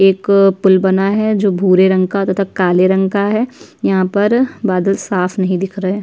एक पूल बना है जो भूरे रंग का तथा काले रंग का है| यहाँ पर बादल साफ नहीं दिख रहे।